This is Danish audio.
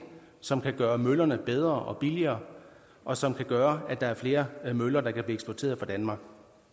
som kan gøre møllerne bedre og billigere og som kan gøre at der er flere møller der kan eksporteret fra danmark